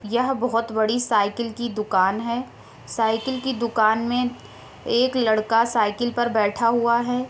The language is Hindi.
यह बहुत बड़ी साइकिल की दुकान है। साइकिल की दुकान में एक लड़का साइकिल की दुकान में बैठा हुआ है।